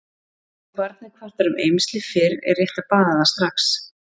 ef barnið kvartar um eymsli fyrr er rétt að baða það strax